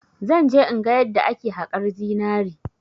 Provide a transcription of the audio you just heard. Zan je in ga yadda ake haƙar zinari.